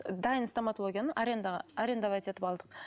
дайын стоматологияны арендаға арендовать етіп алдық